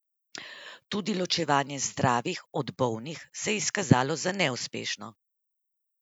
Tudi ločevanje zdravih od bolnih se je izkazalo za neuspešno.